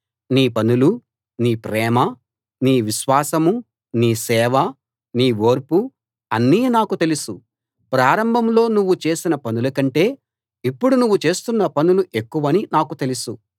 నీ పనులూ నీ ప్రేమా నీ విశ్వాసమూ నీ సేవా నీ ఓర్పూ అన్నీ నాకు తెలుసు ప్రారంభంలో నువ్వు చేసిన పనుల కంటే ఇప్పుడు నువ్వు చేస్తున్న పనులు ఎక్కువని నాకు తెలుసు